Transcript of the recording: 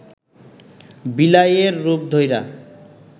বিলাইয়ের রূপ ধইরা